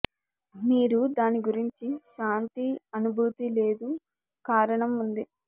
మీరు దాని గురించి శాంతి అనుభూతి లేదు కారణం ఉంది